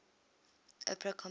opera composers